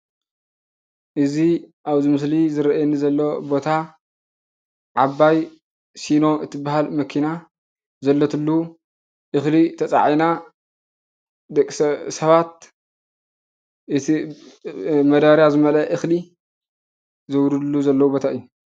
እዚ ኣብዚ ምስሊ ዝረኣየኒ ዘሎ ቦታ ዓባይ ሲኖ እትብሃል መኪና ዘለትሉ እክሊ ተፅዒና ሰባት እቲ መዳበርያ ዝመልአ እክሊ ዘውርድሉ ዘለው ቦታ እዩ።